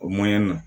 O na